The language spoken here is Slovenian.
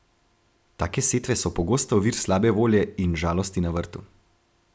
Take setve so pogosto vir slabe volje in žalosti na vrtu.